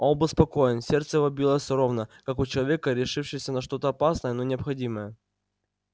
он был спокоен сердце его билось ровно как у человека решившегося на что-то опасное но необходимое